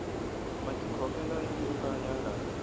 matikhomele yo ka ya nga